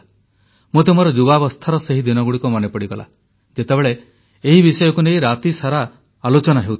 ମୋତେ ମୋର ଯୁବାବସ୍ଥାର ସେହି ଦିନଗୁଡ଼ିକ ମନେ ପଡ଼ିଗଲା ଯେତେବେଳେ ଏହି ବିଷୟକୁ ନେଇ ରାତିସାରା ଆଲୋଚନା ହେଉଥିଲା